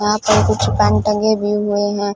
यहां पर कुछ पैंट टंगे भी हुए हैं।